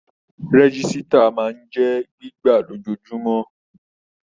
Rẹ̀gisita máa ń jẹ gbígbà lojoojumọ̀.